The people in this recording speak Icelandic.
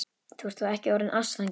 Þú ert þó ekki orðinn ástfanginn?